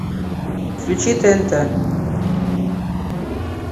включи тнт